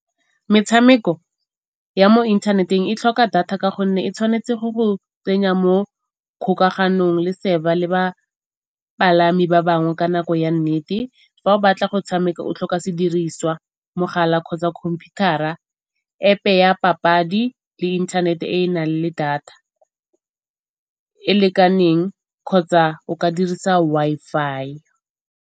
Metshameko ya mo inthaneteng e tlhoka data ka gonne e tshwanetse go go tsenya mo kgokaganong le le bapalami ba bangwe ka nako ya nnete. Fa o batla go tshameka o tlhoka sediriswa, mogala kgotsa computer-a, App-e ya papadi le internet e e nang le data e lekaneng kgotsa o ka dirisa Wi-Fi.